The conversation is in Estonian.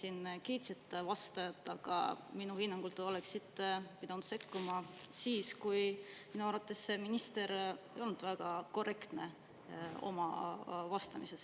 Te siin kiitsite vastajat, aga minu hinnangul te oleksite pidanud sekkuma siis, kui minister ei olnud väga korrektne oma vastamises.